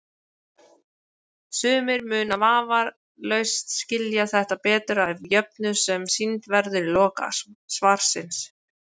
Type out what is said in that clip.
Sumir munu vafalaust skilja þetta betur af jöfnu sem sýnd verður í lok svarsins.